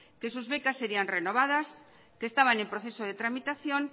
que sus becas sería renovadas que estaban en proceso de tramitación